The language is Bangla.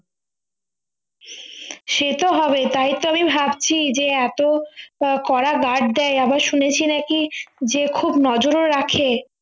সেতো হবেই তাইতো আমি ভাবছি যে এত ক~ কড়া guard দেয় আবার শুনেছি নাকি যে খুব নজরে রাখে